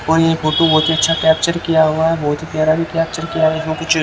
photo बहुत ही अच्छा कैप्चर किया हुआ है बहुत ही प्यारा भी कैप्चर किया यहाँ कुछ --